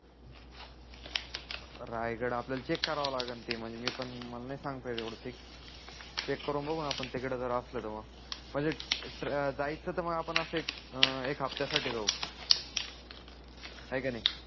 रायगड आपल्याला चेक कराव लागण ते म्हणजे मी पण मला नाही सांगता येत एवढ चेक चेक करून बघू न तिकडे जर असाल तर मग म्हणजे जायच तर आपण एक हप्त्या साठी जाऊ हाय की नाही